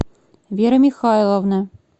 вера михайловна